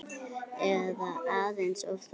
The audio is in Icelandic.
Eða aðeins of þungur?